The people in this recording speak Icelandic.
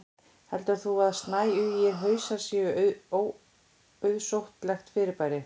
heldur þú að snæugir hausar séu óauðsóttlegt fyrirbrigði